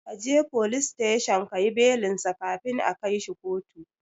Kaje folis teshon kayi belinsa kafin a kaishi kotu